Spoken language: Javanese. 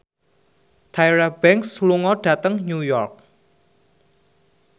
Tyra Banks lunga dhateng New York